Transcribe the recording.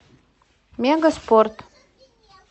мегаспорт